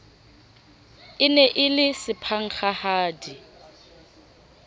e ne e le sephankgahadi